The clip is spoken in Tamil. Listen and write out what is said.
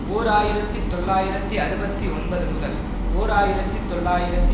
ஓர் ஆயிரத்தி தொள்ளாயிரத்து அறுபத்தி ஒன்பது முதல் ஓர் ஆயிரத்தி தொள்ளாயிரத்து